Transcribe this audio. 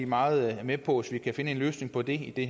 meget med på at finde en løsning på det i